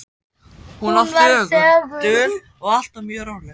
Hún var þögul, dul og alltaf mjög róleg.